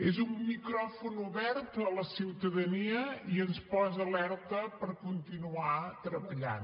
és un micròfon obert a la ciutadania i ens posa alerta per continuar treballant